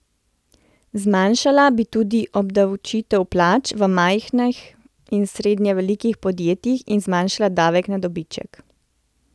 Zmanjšala bi tudi obdavčitev plač v majhnih in srednje velikih podjetjih in zmanjšala davek na dobiček.